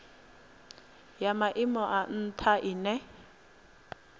ya maimo a ntha ine